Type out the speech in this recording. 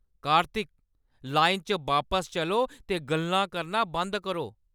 कार्तिक! लाइना च बापस चलो ते गल्लां करना बंद करो।